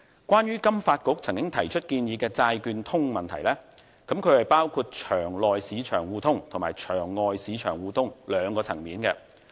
關於金發局曾經提出建議的"債券通"問題，包括場內市場互通和場外市場互通兩個層面。